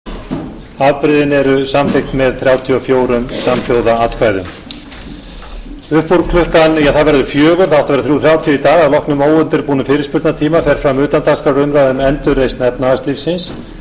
upp úr klukkan ja það verður fjögur það átti að vera þrír þrjátíu í dag að loknum óundirbúnum fyrirspurnatíma fer fram utandagskrárumræða um endurreisn efnahagslífsins